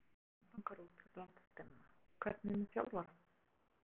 Alla leikmenn langar út fyrir landsteinana, hvernig er með þjálfarann?